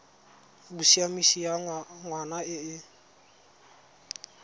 bosiamisi ya ngwana e e